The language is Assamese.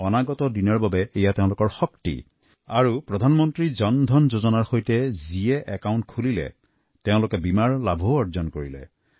আকৌ প্ৰধানমন্ত্ৰী জন ধন যোজনাত যিসকলে একাউণ্ট খুলিছে তেওঁলোকে বীমাৰ সুবিধাও পাইছে